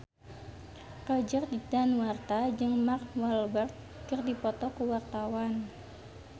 Roger Danuarta jeung Mark Walberg keur dipoto ku wartawan